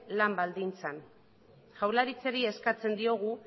lan baldintzak jaurlaritzari eskatzen diogu